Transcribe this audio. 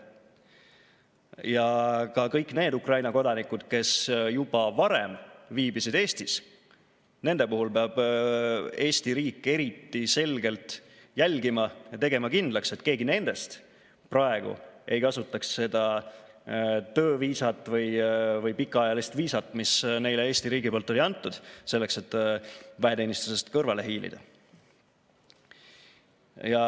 Ja ka kõigi nende Ukraina kodanike puhul, kes juba varem viibisid Eestis, peab Eesti riik eriti selgelt jälgima ja tegema kindlaks, et keegi nendest praegu ei kasutaks seda tööviisat või pikaajalist viisat, mille Eesti riik on andnud, selleks, et väeteenistusest kõrvale hiilida.